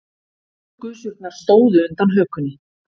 Blóðgusurnar stóðu undan hökunni.